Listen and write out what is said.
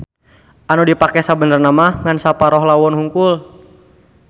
Anu dipake sabenerna ngan saparoh lawon hungkul.